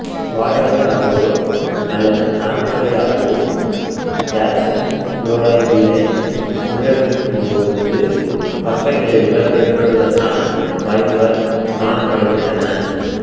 வாய் வழியாகவோ அல்லது நரம்பு வழியாகவோ கல்சியம் குளோரைட்டினை உள்ளெடுக்கும் போது பக்கவிளைவுகள் ஏற்படுவதற்கான வாய்ப்புகள் காணப்படுகின்றன